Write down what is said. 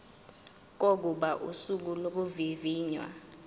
kokuba usuku lokuvivinywa